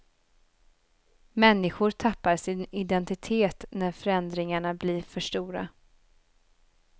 Människor tappar sin identitet när förändringarna blir för stora.